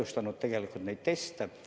Samas neid teste on ka ühtlustatud.